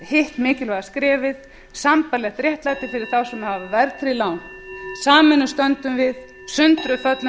hitt mikilvæga skrefið sambærilegt réttlæti fyrir þá sem hafa verðtryggð lán sameinuð stöndum við sundruð föllum